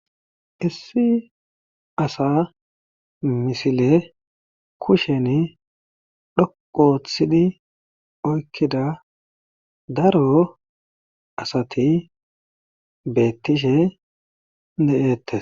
Issi asa misile kushen dhoqu oththidi oykkida daro asati beettishe de7ette